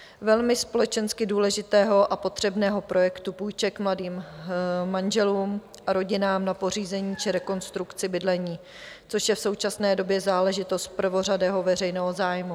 Velmi společensky důležitého a potřebného projektu půjček mladým manželům a rodinám na pořízení či rekonstrukci bydlení, což je v současné době záležitost prvořadého veřejného zájmu.